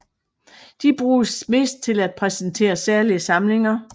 De bruges mest til at præsentere særlige samlinger